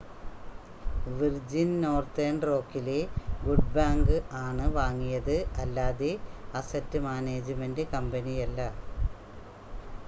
virgin Northern റോക്കിലെ good bank ആണ് വാങ്ങിയത് അല്ലാതെ അസറ്റ് മാനേജ്മെൻ്റ് കമ്പനിയല്ല